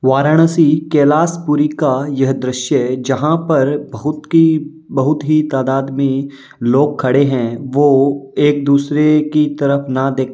वाराणसी कैलाशपुरी का यह दृश्य जहाँ पर बहुत की बहुत ही तादात में लोग खड़े हैं वो एक दूसरे की तरफ ना देख --